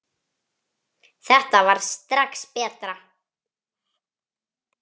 Þetta varð strax betra.